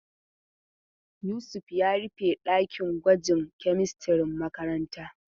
Yusuf ya rufe ɗakin gwajin kemistirin makarantan.